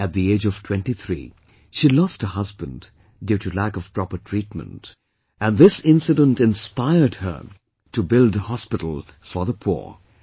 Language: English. At the age of 23 she lost her husband due to lack of proper treatment, and this incident inspired her to build a hospital for the poor